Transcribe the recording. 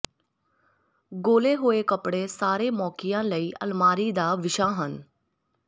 ਗੋਲੇ ਹੋਏ ਕੱਪੜੇ ਸਾਰੇ ਮੌਕਿਆਂ ਲਈ ਅਲਮਾਰੀ ਦਾ ਵਿਸ਼ਾ ਹਨ